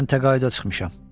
Mən təqaüdə çıxmışam.